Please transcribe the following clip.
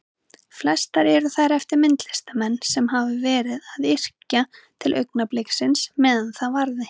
Flestar eru þær eftir myndlistarmenn sem hafa verið að yrkja til augnabliksins meðan það varði.